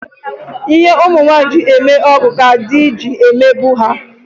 Ihe nwaanyị ji eme ọgọ ka di ji emegbu ya.